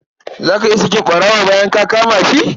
Za ka iya sakin ɓarawo bayan ka kama shi?